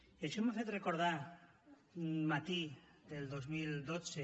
i això m’ha fet recordar un mati del dos mil dotze